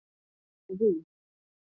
Ekki býst ég við því.